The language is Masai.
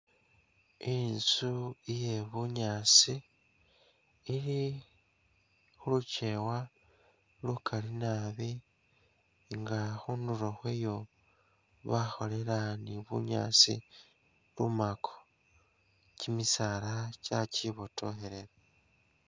Inzu iye bunyaasi ili khu lukewa lukali naabi nga khundulo khwayo bakholela ni bunyaasi lumako, kimisaala kya kibotokhelela.